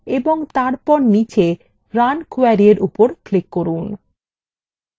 এবং তারপর নীচে run query এর উপর click run